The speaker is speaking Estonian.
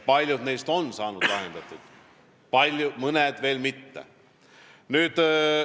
Paljud neist on saanud lahendatud, mõned veel mitte.